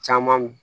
Caman min